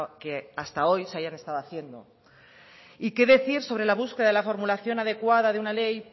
que hasta hoy se hayan estado haciendo y qué decir sobre la búsqueda de la formulación adecuada de una ley